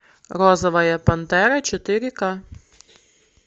розовая пантера четыре ка